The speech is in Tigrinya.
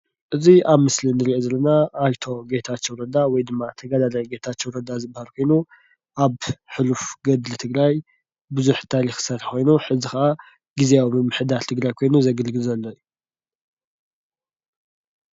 እዚ አብ ምስሊ እንሪኦ ዘለና አይተ ጌታቸው ረዳ ወይ ድማ ተጋዳላይ ጌታቸው ረዳ ዝበሃል ኮይኑ፤ አብ ሕሉፍ ገድሊ ትግራይ ብዙሕ ታሪክ ዝሰርሐ ኮይኑ ሕዚ ከዓ ግዚያዊ ምምሕዳር ትግራይ ኮይኑ ዘገልግል ዘሎ እዩ።